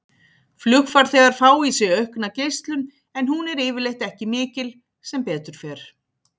Flugfarþegar fá í sig aukna geislun en hún er yfirleitt ekki mikil, sem betur fer.